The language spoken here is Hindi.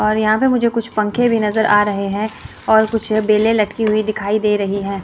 और यहां पे मुझे कुछ पंखे भी नजर आ रहें हैं और कुछ बेले लटकी हुई दिखाई दे रहीं हैं।